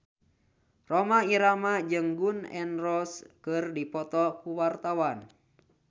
Rhoma Irama jeung Gun N Roses keur dipoto ku wartawan